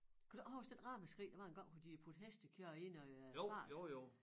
Kan du ikke huske den ramaskrig der var engang hvor de puttede hestekød i noget øh fars?